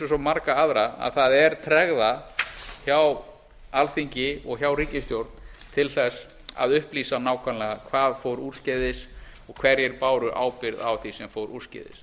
og svo marga aðra að það er tregða hjá alþingi og hjá ríkisstjórn til þess að upplýsa nákvæmlega hvað fór úrskeiðis og hverjir báru ábyrgð á þess sem fór úrskeiðis